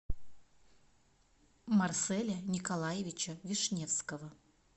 марселя николаевича вишневского